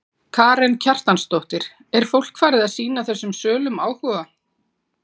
Karen Kjartansdóttir: Er fólk farið að sýna þessum sölum áhuga?